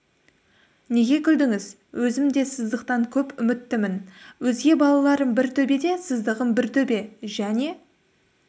неге күлдіңіз өзім де сыздықтан көп үміттімін өзге балаларым бір төбе де сыздығым бір төбе және